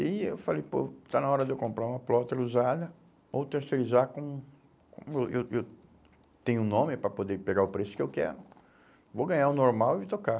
E aí eu falei, pô, está na hora de eu comprar uma plotter usada ou terceirizar com com... Eu eu eu tenho um nome para poder pegar o preço que eu quero, vou ganhar o normal e tocar.